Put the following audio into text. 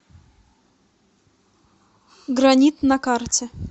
гранит на карте